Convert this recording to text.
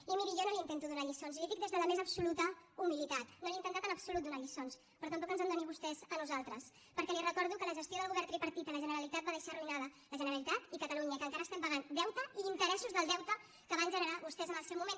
i miri jo no li intento donar lliçons li ho dic des de la més absoluta humilitat no he intentat en absolut donar lliçons però tampoc ens en doni vostè a nosaltres perquè li recordo que la gestió del govern tripartit a la generalitat va deixar arruïnades la generalitat i catalunya i que encara estem pagant deute i interessos del deute que van generar vostès en el seu moment